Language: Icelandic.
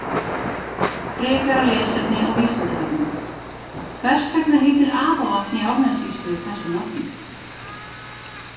Frekara lesefni á Vísindavefnum: Hvers vegna heitir Apavatn í Árnessýslu þessu nafni?